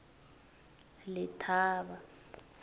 letaba